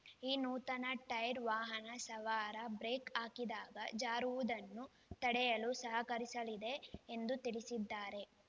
ಈ ನೂತನ ಟೈರ್ ವಾಹನ ಸವಾರ ಬ್ರೇಕ್ ಹಾಕಿದಾಗ ಜಾರುವುದನ್ನು ತಡೆಯಲು ಸಹಕರಿಸಲಿದೆ ಎಂದು ತಿಳಿಸಿದ್ದಾರೆ